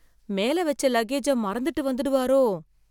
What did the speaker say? மேல வெச்ச லக்கேஜை மறந்துட்டு வந்துடுவாரோ?